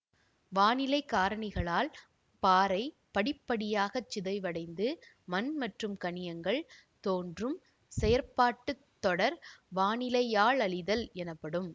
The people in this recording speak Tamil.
வானிலை காரணிகளால் பாறை படிப்படியாகச் சிதைவடைந்து மண் மற்றும் கனியங்கள் தோன்றும் செயற்பாட்டு தொடர் வானிலையாலழிதல் எனப்படும்